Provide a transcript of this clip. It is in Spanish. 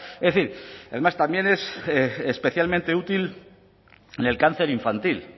además también es especialmente útil en el cáncer infantil